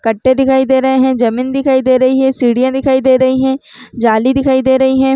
कट्टे दिखाई दे रहे है जमीन दिखाई दे रही है सीढ़िया दिखाई दे रही है जाली दिखाई दे रही है।